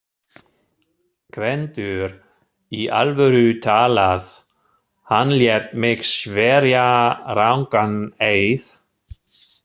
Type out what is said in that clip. GVENDUR: Í alvöru talað: hann lét mig sverja rangan eið.